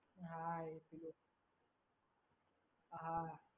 હા એટલે હા